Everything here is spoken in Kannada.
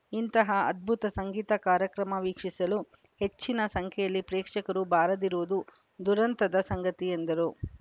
ಇಂತಹ ಅದ್ಭುತ ಸಂಗೀತ ಕಾರ್ಯಕ್ರಮ ವೀಕ್ಷಿಸಲು ಹೆಚ್ಚಿನ ಸಂಖ್ಯೆಯಲ್ಲಿ ಪ್ರೇಕ್ಷಕರು ಬಾರದಿರುವುದು ದುರಂತದ ಸಂಗತಿ ಎಂದರು